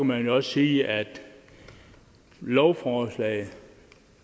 man også sige at lovforslaget